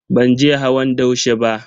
Ban je hawan daushe ba.